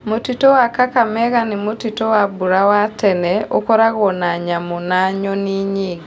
Mũtitũ wa Kakamega nĩ mũtitũ wa mbura wa tene, ũkoragwo na nyamũ na nyoni nyingĩ.